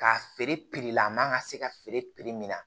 K'a feere la a man kan ka se ka feere min na